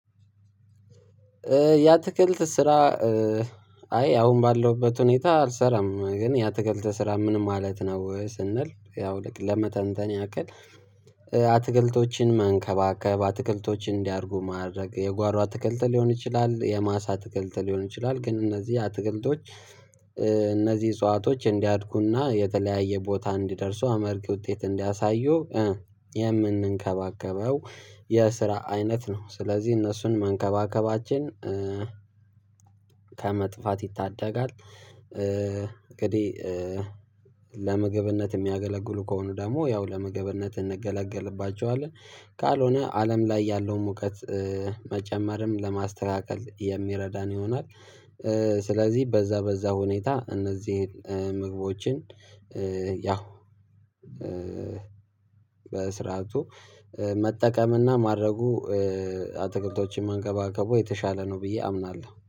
ያ አትክልት ስራ አይ አሁን ባለውበት ሁኔታ አልሰራም ግን ያ አትክልት ስራ ምንም ማለት ነው ስንል ያው ለመተንተን ያክል። አትክልቶችን መንከባከብ አትክልቶችን እንዲያድጉ ማድረግ የጓሮ አትክልት ሊሆን ይችላል የማሳ አትክልት ሊሆን ይችላል ግን እነዚህ አትክልቶች። እነዚህ እጽዋቶች እንዲያድጉና የተለያየ ቦታ እንዲደርሱ አመርቂ ውጤት እንዲያሳዩ የምንንከባከበው የስራ አይነት ነው ስለዚህ እነሱን መንከባከባችን ከመጥፋት ይታደጋል። እንግዲህ ለምግብነት የሚያገለግሉ ከሆኑ ደግሞ ያው ለመግብነት እንገለገልባቸዋለን። ካልሆነ አለም ላይ ያለው ሙቀት መጨመርም ለማስተካከል የሚረዳን ይሆናል። ስለዚህ በዛ በዛ ሁኔታ እነዚህን ምግቦችን ያው በስርዓቱ መጠቀምና ማድረጉ አትክልቶችን መንከባከቡ የተሻለ ነው። ብዬ አምናለሁ